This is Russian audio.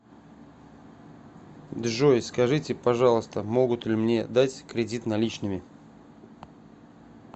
джой скажите пожалуйста могут ли мне дать кредит наличными